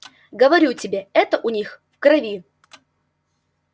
говорю тебе это у них в крови